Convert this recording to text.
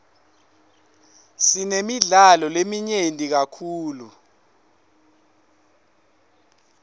sinemidlalo leminyenti kakhulu